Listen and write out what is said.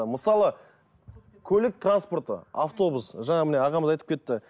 мысалы көлік транспорты автобус жаңағы міне ағамыз айтып кетті